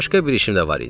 Başqa bir işim də var idi.